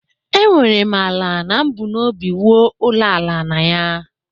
Enwere m ala na m bu n'obi wuo Ulo aka na ya.